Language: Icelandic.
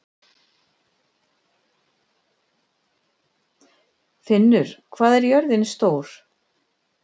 Finnur, hvað er jörðin stór?